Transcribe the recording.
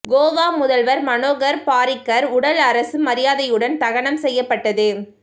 கோவா முதல்வர் மனோகர் பாரிக்கர் உடல் அரசு மரியாதையுடன் தகனம் செய்யப்பட்டது